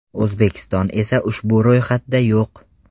O‘zbekiston esa ushbu ro‘yxatda yo‘q.